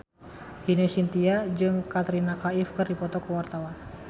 Ine Shintya jeung Katrina Kaif keur dipoto ku wartawan